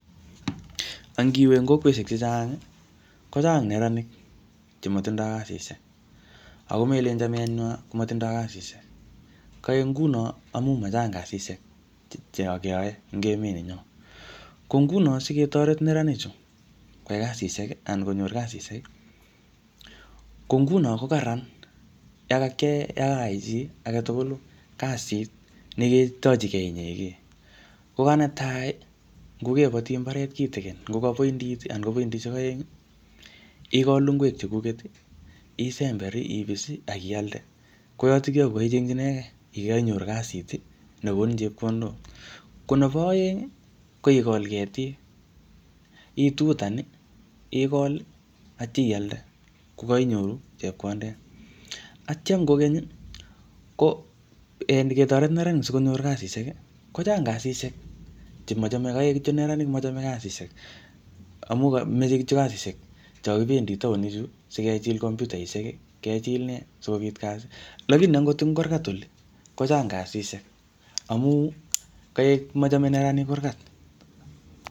Angiwe eng kokweshek chechang, kochang neranik che matindoi kasishek. Ako melen chamet nywo komatindoi kasishek. Kaek nguno, amu machang kasishek che keyae eng emet nenyo. Ko nguno siketoret neranik chu, kwai kasisihek anan konyor kasishek, ko nguno ko kararan ye kakiyae, yokayai chi age tugul kasit ne ketochikey inyege. Kogo netai, ngokembati mbaret kitikin, ngo ka piondit, anan ngo poindishek aeng, igol ngwek chekuket, isember, ipis, akialde. Ko yotokyo ko kaichengchikey, kokainyoru kasit ne konin chepkondok. Ko nebo aeng, ko ikol ketik, itutan, igol, atya ialde kokainyoru chepkondet. Atyam kokeny, ko en ketoret neranik sikonyor kasishek, kochang kasishek chemochame . Kaek kityo neranik mochome kasishek, amu kameche kityo kasishek cho kibendi taonik chu, sikejil kompyutaishek, kejil ne, sikobit kasi. Lakini angot ing kurgat oli, kochang kasishek amu kaek machame neranik kurgat.